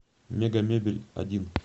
мегамебельодин